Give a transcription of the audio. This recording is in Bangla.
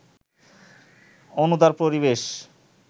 অনুদার পরিবেশ